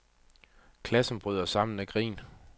Klassen bryder sammen af grin.